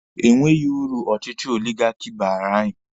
E nweghi uru ọchịchị oligaki baara anyị.